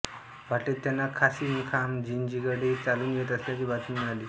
वाटेत त्यांना कासीमखान जिंजीकडे चालून येत असल्याची बातमी मिळाली